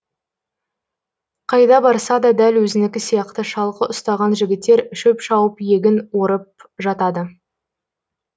қайда барса да дәл өзінікі сияқты шалғы ұстаған жігіттер шөп шауып егін орып жатады